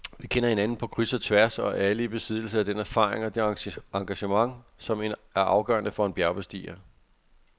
Vi kender hinanden på kryds og tværs og er alle i besiddelse af den erfaring og det engagement, som er afgørende for en bjergbestiger.